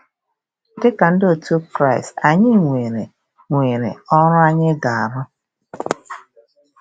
Dị ka ndị otu Kraịst, anyị nwere nwere ọrụ anyị ga-arụ.